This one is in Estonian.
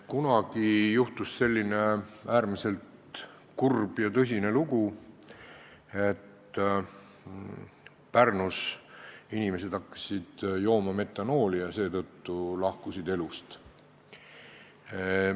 Kunagi juhtus selline äärmiselt kurb ja tõsine lugu, et Pärnus hakkasid inimesed jooma metanooli ja seetõttu lahkusid elust.